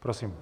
Prosím.